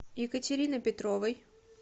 екатерины петровой